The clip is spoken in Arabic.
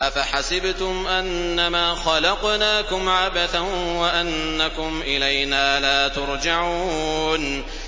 أَفَحَسِبْتُمْ أَنَّمَا خَلَقْنَاكُمْ عَبَثًا وَأَنَّكُمْ إِلَيْنَا لَا تُرْجَعُونَ